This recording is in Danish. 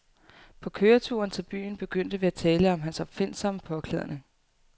På køreturen til byen begyndte vi at tale om hans opfindsomme påklædning.